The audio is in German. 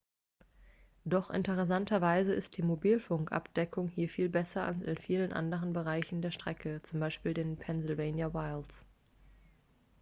doch interessanterweise ist die mobilfunkabdeckung hier viel besser als in vielen anderen bereichen der strecke z. b. den pennsylvania wilds